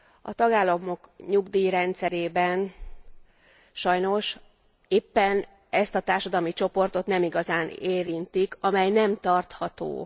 A tagállamok nyugdíjrendszerében sajnos éppen ezt a társadalmi csoportot nem igazán érintik, amely nem tarható.